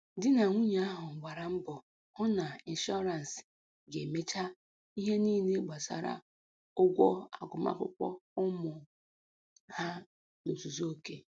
Di na nwunye ahụ gbara mbọ hụ na ịnshọrance ga-emecha ihe niile gbasara ụgwọ agụmakwụkwọ ụmụ ha n'ozuzu oke